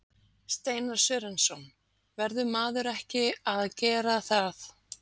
Steinar Sörensson: Verður maður ekki að gera það?